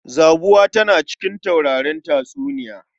Zabuwa tana daga cikin taurarin tatsuniya.